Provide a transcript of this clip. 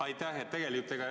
Aitäh!